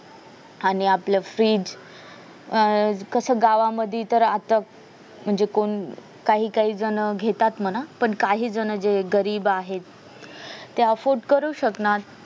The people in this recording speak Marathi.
आणि आपलं fridge अं कस गावामधी तर आताच म्हणजे कोण काही काही जण घेतात म्हणा पण काही जण गरीब आहेत ते offered करू शकणार